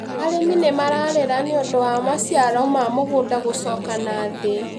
Arĩmi nĩ mararĩra nĩ ũndũ wa maciaro ma mĩgũnda gũcoka na thĩ